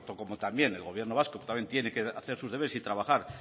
como también el gobierno vasco también tiene que hacer sus deberes y trabajar